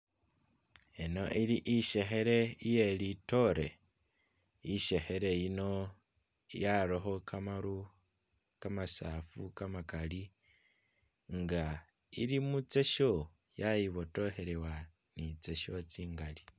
Eno ili isekhele iye lidore isekhele yino yarako gamaru gamasafu gamagali nga ili muzecho yayibodokhelewa ni zecho zingali.